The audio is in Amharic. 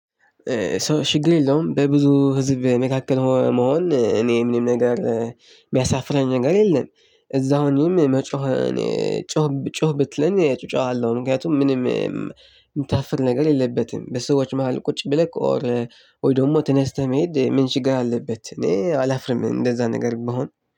ችግር የለውም በብዙ ህዝብ መካከል መሆን እኔ ምንም ነገር የሚያሳፍረኝ ነገር የለም። እዛው ሆኜም መጮህ እኔ እጮሃለው። ጩህ ብትለኝ እጮሃለው ምክንያቱም ምንም የምታፍር ነገር የለበትም በሰዎች መሃል ቁጭ ብለህ ኦር ወይ ደግሞ ተነስተህ መሄድ ምን ችግር አለበት? እኔ አላፍርም እንደዛ ነገር ቢሆን